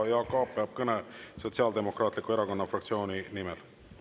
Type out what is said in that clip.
Jaak Aab peab kõne Sotsiaaldemokraatliku Erakonna fraktsiooni nimel.